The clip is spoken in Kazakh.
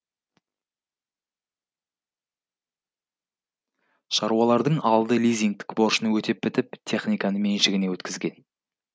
шаруалардың алды лизингтік борышын өтеп бітіп техниканы меншігіне өткізген